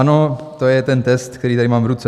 Ano, to je ten test, který tady mám v ruce.